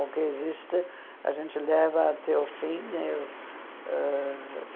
O que existe, a gente leva até o fim. Ãh